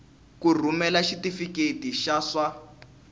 ku rhumela xitifiketi xa swa